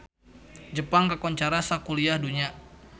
Jepang kakoncara sakuliah dunya